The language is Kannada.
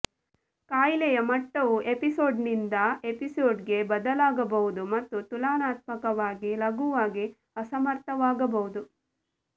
ಕಾಯಿಲೆಯ ಮಟ್ಟವು ಎಪಿಸೋಡ್ನಿಂದ ಎಪಿಸೋಡ್ಗೆ ಬದಲಾಗಬಹುದು ಮತ್ತು ತುಲನಾತ್ಮಕವಾಗಿ ಲಘುವಾಗಿ ಅಸಮರ್ಥವಾಗಬಹುದು